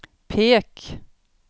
pek